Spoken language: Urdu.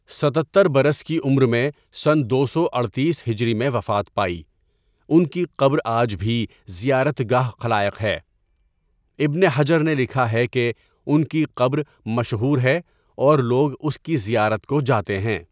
۷۷ برس کی عمر میں سنہ دو سو اڈتیس ہجری میں وفات پائی، ان کی قبر آج بھی زیارت گاہ خلائق ہے، ابن حجر نے لکھا ہے کہ ان کی قبر مشہور ہے اور لوگ اس کی زیارت کوجاتے ہیں.